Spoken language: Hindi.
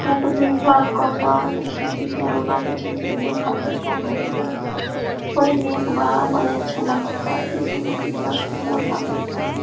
यहाँ पे भीड़ भाड़ कम बा देखि की करत है कॅरोना के चलते भीड़ भाड़ भी कम है यहाँ बड़ी नेक बा बड़ी अच्छा लगाता देखे मै कितना सुंदर लगाता।